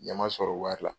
Ɲɛ ma sɔrɔ wari la